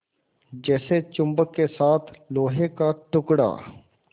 जैसे चुम्बक के साथ लोहे का टुकड़ा